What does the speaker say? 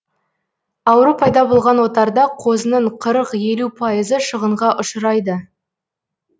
ауру пайда болған отарда қозының қырық елу пайызы шығынға ұшырайды